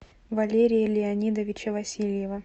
валерия леонидовича васильева